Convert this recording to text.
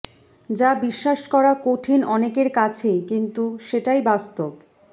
যা বিশ্বাস করা কঠিন অনেকের কাছেই কিন্তু সেটাই বাস্তব